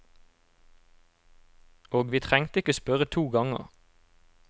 Og vi trengte ikke spørre to ganger.